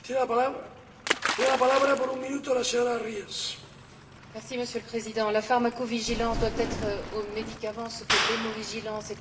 Monsieur le Président, la pharmacovigilance doit être aux médicaments ce que l'hémovigilance est au sang, et l'organovigilance pour les organes, c'est à dire une assurance tous risques.